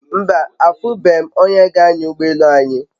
Mba, afube m onye g'anya ugbo elu anyi